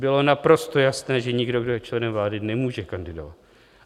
Bylo naprosto jasné, že nikdo, kdo je členem vlády, nemůže kandidovat.